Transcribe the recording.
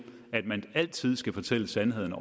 at man altid skal fortælle sandheden